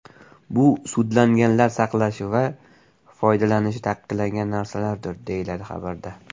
Bu sudlanganlar saqlashi va foydalanishi taqiqlangan narsalardir, deyiladi xabarda.